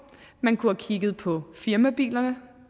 man kunne have kigget på firmabilerne